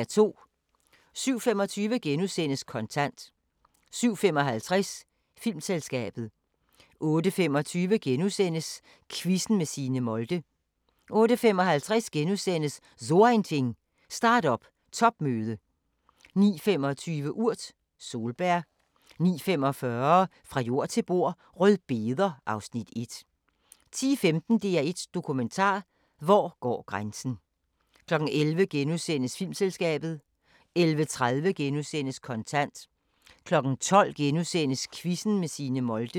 07:25: Kontant * 07:55: Filmselskabet 08:25: Quizzen med Signe Molde * 08:55: So Ein Ding: Start-up topmøde * 09:25: Urt: Solbær 09:45: Fra jord til bord: Rødbeder (Afs. 1) 10:15: DR1 Dokumentar: Hvor går grænsen 11:00: Filmselskabet * 11:30: Kontant * 12:00: Quizzen med Signe Molde *